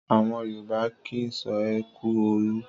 Àwọn Yorùbá kì í sọ ẹ kú òru.